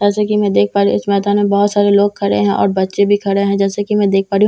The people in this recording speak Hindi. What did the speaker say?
जैसा कि मैं देख पा रही हूं इस मैदान में बहुत सारे लोग खड़े हैं और बच्चे भी खड़े जैसा कि मैं देख पा रही हूं नद --